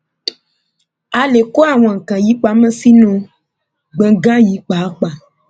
a lè kó àwọn nǹkan wọnyí pamọ sínú gbọngàn yìí pàápàá